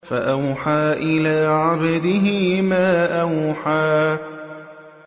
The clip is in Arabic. فَأَوْحَىٰ إِلَىٰ عَبْدِهِ مَا أَوْحَىٰ